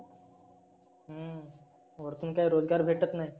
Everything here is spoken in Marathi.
हम्म वरतुन काही रोजगार भेटत नाही.